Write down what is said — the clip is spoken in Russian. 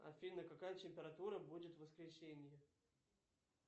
афина какая температура будет в воскресенье